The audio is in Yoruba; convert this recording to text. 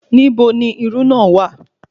Nibo ni irú náà wà